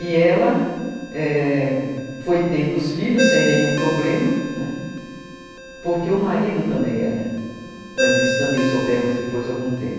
E ela, é... foi tendo os filhos sem nenhum problema, né, porque o marido também era, mas isso também soubemos depois de algum tempo.